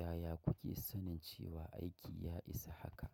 Yaya kuke sanin cewa aiki ya isa haka?